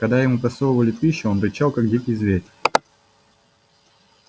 когда ему просовывали пищу он рычал как дикий зверь